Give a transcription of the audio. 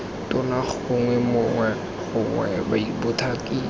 tona gongwe mongwe gongwe bothati